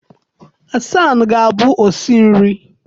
Hasan ga-abụ osi nri